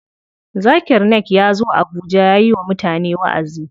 Zakir Naik yazo abuja yayi wa mutane waʼazi.